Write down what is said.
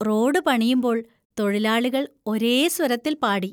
Road പണിയുമ്പോൾ തൊഴിലാളികൾ ഒരേ സ്വരത്തിൽ പാടി.